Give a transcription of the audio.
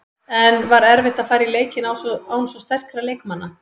En var erfitt að fara í leikinn án svo sterkra leikmanna?